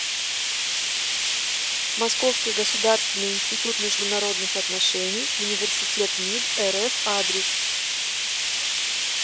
московский государственный институт международных отношений университет мид рф адрес